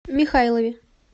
михайлове